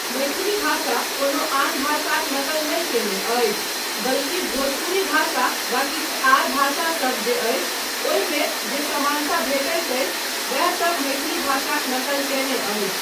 मैथिली भाषा कोनो आन भाषाक नकल नहि कयने अछि, बल्कि भोजपुरी भाषा वा किछु आर भाषासब जे अछि, ओहिमे जे समानता भेटैत अछि, वैह सब मैथिली भाषाक नकल कयने अछि।